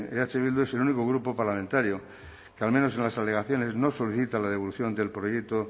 eh bildu es el único grupo parlamentario que al menos en las alegaciones no solicita la devolución del proyecto